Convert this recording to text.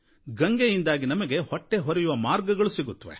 ಗಂಗೆಯಿಂದಾಗಿ ನಮಗೆ ಹೊಟ್ಟೆಹೊರೆಯುವ ಮಾರ್ಗ ಸಿಗುತ್ತೆ